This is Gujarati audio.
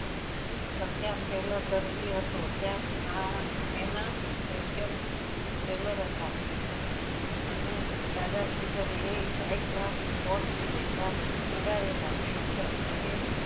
પ્રખ્યાત પહેલા દરજી હતો ત્યાં આ એના special tailor હત અને દાદાશ્રી કહે એ high class coat સીવે ત્યાંથી સીવડાવેલા પછી તો અને